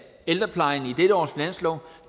ældreplejen i dette års finanslov